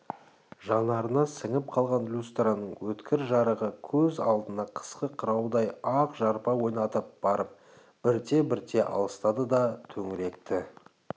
жанарына сіңіп қалған люстраның өткір жарығы көз алдына қысқы қыраудай ақ жарпа ойнатып барып бірте-бірте алыстады да төңіректі